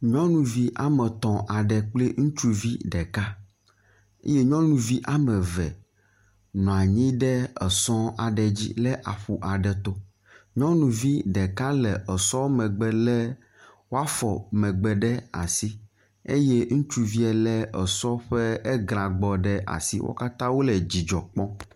Nyɔnuvi ame etɔ̃ aɖe kple ŋutsuvi ɖeka ye nyɔnuvi ame eve nɔ anyi ɖe esɔ aɖe dzi le aƒu aɖe to. Nyɔnuvi ɖeka le esɔ megbe le woafɔ megbe ɖe asi eye ŋutsuvia le esɔ ƒe eglagbɔ ɖe asi. Wo katã wo le didzɔ kpɔm.